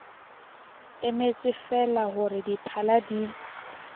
emetsefeela ho re diphala di